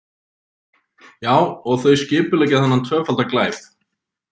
Já, og þau skipuleggja þennan tvöfalda glæp.